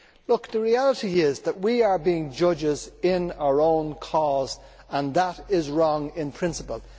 Look, the reality is that we are being judges in our own cause, and that is wrong in principle.